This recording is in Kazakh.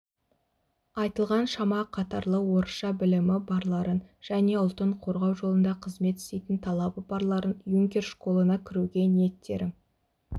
айтылған шама қатарлы орысша білімі барларын және ұлтын қорғау жолында қызмет істейтін талабы барларын юнкер школына кіруге ниеттерің